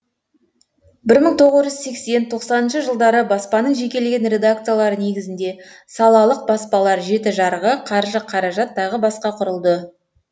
бір мың тоғыз жүз сексен тоқсаныншы жылдары баспаның жекелеген редакциялары негізінде салалық баспалар жеті жарғы қаржы қаражат тағы басқа құрылды